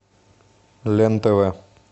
лен тв